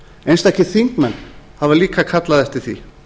einstakir þingmenn hafa líka kallað eftir því